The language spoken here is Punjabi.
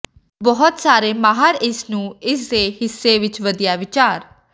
ਬਹੁਤ ਸਾਰੇ ਮਾਹਰ ਇਸ ਨੂੰ ਇਸ ਦੇ ਹਿੱਸੇ ਵਿੱਚ ਵਧੀਆ ਵਿਚਾਰ